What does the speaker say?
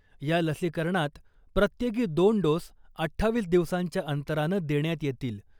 या लसीकरणात प्रत्येकी दोन डोस अठ्ठावीस दिवसांच्या अंतरानं देण्यात येतील .